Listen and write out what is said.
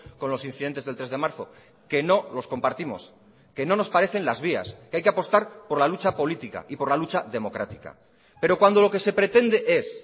con los incidentes del tres de marzo que no los compartimos que no nos parecen las vías que hay que apostar por la lucha política y por la lucha democrática pero cuando lo que se pretende es